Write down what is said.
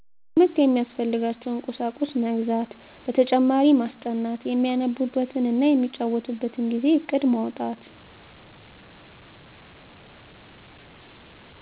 ለትምህርት የሚያስፈልጋቸዉን ቁሳቁስ መግዛት በተጨማሪ ማስጠናት የሚያነቡበት እና የሚጫወቱበትን ጊዜ እቅድ ማዉጣት